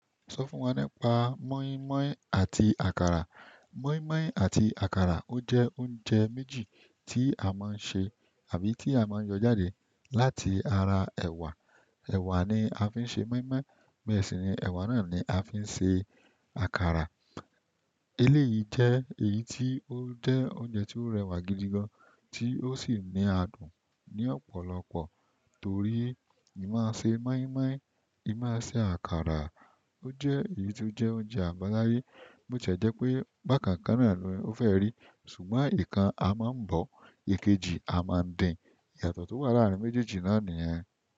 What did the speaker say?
Sọ fún wa nípa moi moi àti àkàrà. Moi moi àti àkàrà ó jẹ́ oúnjẹ méjì tí a máa ń ṣe àbí tí a máa ń yọ jáde láti ara ẹ̀wà. Ẹ̀wà ni a fi ń ṣe moi moi, bẹ́ẹ̀ sì ni ẹ̀wà náà ni a fi ń ṣe àkàrà. Eléyìí jẹ́ èyí tí ó jẹ́ oúnjẹ tí ó rẹwà gidi gan, tí ó sì ní adùn ní ọ̀pọ̀lọpọ̀ torí ì máa ṣe moi moi, ì máa ṣe àkàrà. Ó jẹ́ èyí tí ó jẹ́ oúnjẹ àbáláyé. Botiẹ jẹ́ pé bákan kan náà ni ó fẹ́ rí, ṣùgbọ́n ikan a máa ń bọ̀, èkejì a máa ń dín. Ìyàtọ̀ tó wà láàrin méjèèjì náà nìyẹn.